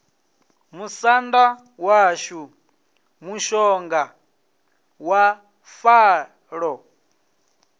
musanda washu mushonga wa falo